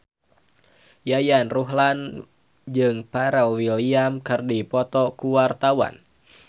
Yayan Ruhlan jeung Pharrell Williams keur dipoto ku wartawan